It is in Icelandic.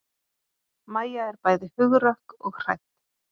Mæja er bæði hugrökk og hrædd.